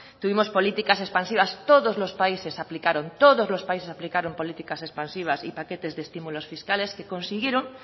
tuvimos políticas expansivas todos los países aplicaron políticas expansivas y paquetes de estímulos fiscales que consiguieron